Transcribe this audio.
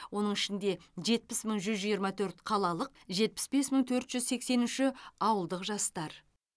оның ішінде жетпіс мың жүз жиырма төрт қалалық жетпіс бес мың төрт жүз сексен үші ауылдық жастар